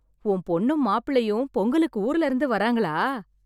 உன் பொண்ணும் மாப்பிள்ளையும் பொங்கலுக்கு ஊர்லருந்து வர்றாங்களா...